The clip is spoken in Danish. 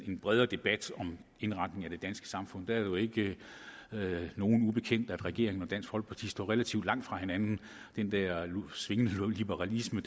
en bredere debat om indretningen af det danske samfund det er jo ikke nogen ubekendt at regeringen og dansk folkeparti står relativt langt fra hinanden den der svingende liberalisme